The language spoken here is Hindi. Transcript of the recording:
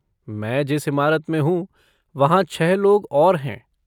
मैं जिस इमारत में हूँ, वहाँ छःलोग और हैं।